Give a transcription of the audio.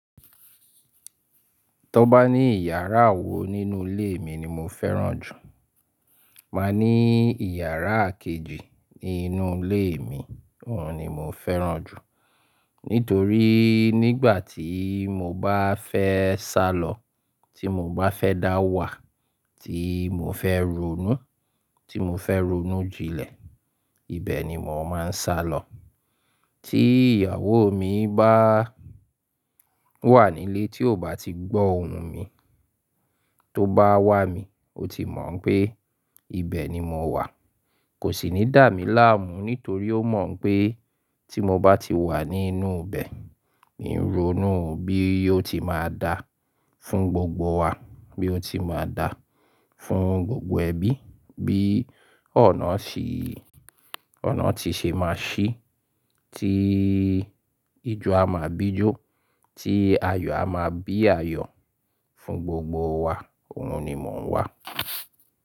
Tọ bá ní iyàrá èwo nínú ilé mi ni mo fẹ́ràn jù. Máa ní iyàrá kejì nínú ilé mi, òhun ni mo fẹ́ràn jù. Nítorí nígbà tí mo bá fẹ́ sálọ, tí mo bá fẹ́ dáwà, tí mo fẹ́ ronú, tí mo fẹ́ ronú jìnlẹ̀, ibẹ̀ ni mò máa ń sálọ. Tí ìyàwó mi bá wà nílé tí ọ̀bá tí gbọ́ ohùn tí ó báwá mi óti mò pé ibẹ̀ ni mowà Kò sì ní dà mí láàmú nítorí ó mọ̀ pé tí mo bá ti wà nínú ibẹ̀, mí n ronú bí yóò ti máa dà fún gbogbo wa, bí ó ti máa dà fún gbogbo ẹbí, bí onà ti ṣe máa ṣí, tí ijó a máa bí jó, tí ayọ̀ a máa bí ayọ̀ fún gbogbo wa, òhun ni mò ń wà.